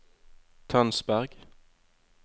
Tønsberg